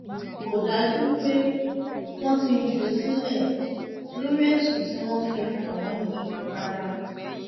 kò dájú pé wọn ti jù ú sílẹ lórí ẹsùn tí wọn fi kàn án yìí rárá